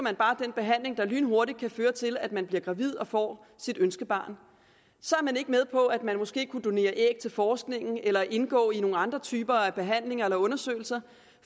den behandling der lynhurtigt kan føre til at man bliver gravid og får sit ønskebarn så er man ikke med på at man måske kunne donere æg til forskningen eller indgå i nogle andre typer af behandlinger eller undersøgelser